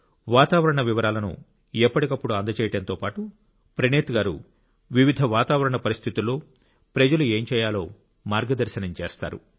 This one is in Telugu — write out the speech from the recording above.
వాతావరణ వివరాలను ఎప్పటికప్పుడు అందజేయడంతో పాటు ప్రణీత్ గారు వివిధ వాతావరణ పరిస్థితుల్లో ప్రజలు ఏం చేయాలో మార్గదర్శనం చేస్తారు